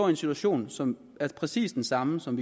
en situation som er præcis den samme som